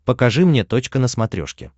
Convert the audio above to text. покажи мне точка на смотрешке